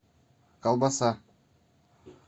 колбаса